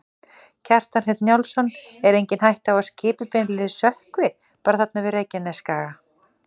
Kjartan Hreinn Njálsson: Er engin hætta á að skipið beinlínis sökkvi bara þarna við Reykjanesskaga?